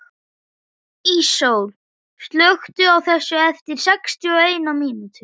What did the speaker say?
Íssól, slökktu á þessu eftir sextíu og eina mínútur.